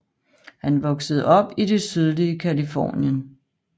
Han voksede op i det sydlige Californien